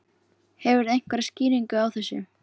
Hefurðu einhverja skýringu á þessu?